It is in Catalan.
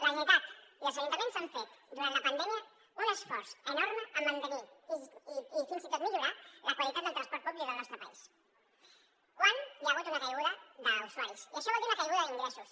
la generalitat i els ajuntaments han fet durant la pandèmia un esforç enorme per mantenir i fins i tot millorar la qualitat del transport públic del nostre país quan hi ha hagut una caiguda d’usuaris i això vol dir una caiguda d’ingressos